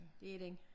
Det er den